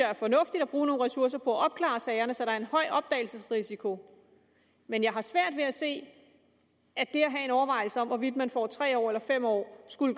er fornuftigt at bruge nogle ressourcer på at opklare sagerne så der er en høj opdagelsesrisiko men jeg har svært ved at se at overvejelsen om hvorvidt man får tre år eller fem år skulle